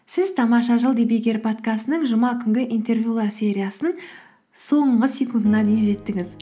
сіз тамаша жыл подкастының жұма күнгі интервьюлар сериясының соңғы секундына дейін жеттіңіз